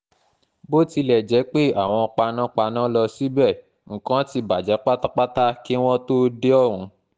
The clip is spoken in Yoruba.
bó tilẹ̀ jẹ́ pé àwọn panápaná ló síbẹ̀ nǹkan ti bàjẹ́ pátápátá kí wọ́n kí wọ́n tóó dé ọ̀hún